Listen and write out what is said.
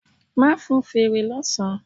Ma fún feré lọ sán